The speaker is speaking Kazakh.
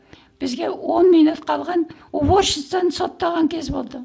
бізге он минут қалған уборщицаны соттаған кез болды